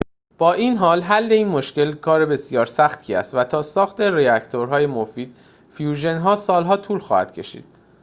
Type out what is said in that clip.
با این حال حل این مشکل کار بسیار سختی است و تا ساخت راکتورهای مفید فیوژن سال‌ها طول خواهد کشید